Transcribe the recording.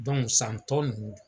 san tɔ nunnu.